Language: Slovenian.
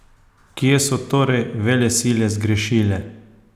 Kje so torej veselile zgrešile?